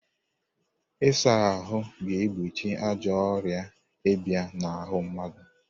Ịsa ahụ ga-egbochi ajọ ọrịa ịbịa n'ahụ mmadụ.